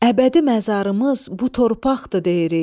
Əbədi məzarımız bu torpaqdır deyirik.